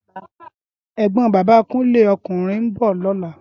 Égbòn Bàbá Kunle (ókúnrìn) n bò lòlá